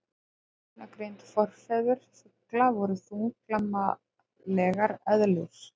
Beinagrind Forfeður fugla voru þunglamalegar eðlur.